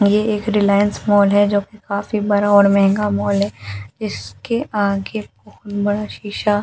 ये एक रिलायंस मॉल है जो कि काफी बड़ा और महंगा मॉल है जिसके आगे बहुत बड़ा सीसा --